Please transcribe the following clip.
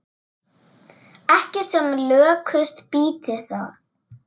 Ekki sem lökust býti það.